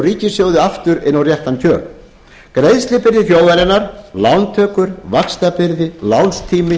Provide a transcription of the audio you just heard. og ríkissjóð aftur á réttan kjöl greiðslubyrði þjóðarinnar lántökur vaxtabyrði lánstími